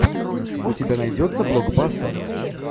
у тебя найдется блокбастер